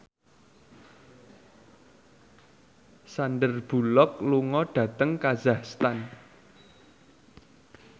Sandar Bullock lunga dhateng kazakhstan